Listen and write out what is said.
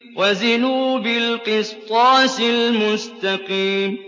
وَزِنُوا بِالْقِسْطَاسِ الْمُسْتَقِيمِ